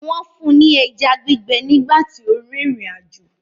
Wọ́n fún ní ẹja gbígbẹ nígbà tó ń rìnrìn àjò